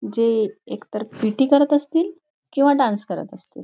जे एकतर पी.टी. करत असतील किंवा डान्स करत असतील.